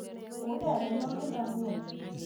Unee lolongindo nguno